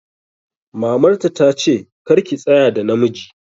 Mamar ta ta ce 'Kar ki tsaya da namiji'!